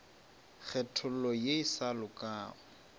kgethollo ye e sa lokago